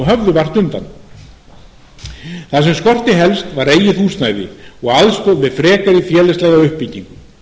höfðu vart undan það sem skorti helst var eigið húsnæði og aðstoð við frekari félagslega uppbyggingu